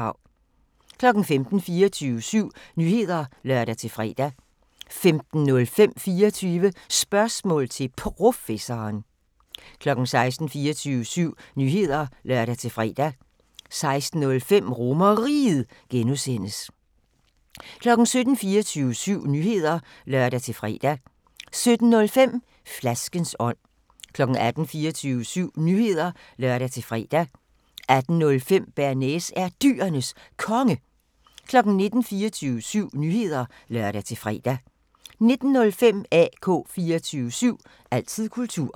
15:00: 24syv Nyheder (lør-fre) 15:05: 24 Spørgsmål til Professoren 16:00: 24syv Nyheder (lør-fre) 16:05: RomerRiget (G) 17:00: 24syv Nyheder (lør-fre) 17:05: Flaskens ånd 18:00: 24syv Nyheder (lør-fre) 18:05: Bearnaise er Dyrenes Konge 19:00: 24syv Nyheder (lør-fre) 19:05: AK 24syv – altid kultur